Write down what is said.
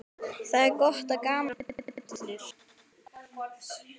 Það er gott og gaman að vera fullur.